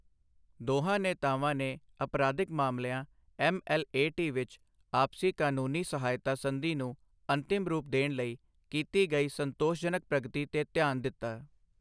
ਦੋਹਾਂ ਨੇਤਾਵਾਂ ਨੇ ਅਪਰਾਧਿਕ ਮਾਮਲਿਆਂ ਐੱਮਐੱਲਏਟੀ ਵਿੱਚ ਆਪਸੀ ਕਾਨੂੰਨੀ ਸਹਾਇਤਾ ਸੰਧੀ ਨੂੰ ਅੰਤਿਮ ਰੂਪ ਦੇਣ ਲਈ ਕੀਤੀ ਗਈ ਸੰਤੋਸ਼ਜਨਕ ਪ੍ਰਗਤੀ ਤੇ ਧਿਆਨ ਦਿੱਤਾ।